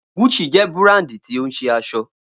Gucci jẹ́ búràndì tí ó ń ṣe aṣọ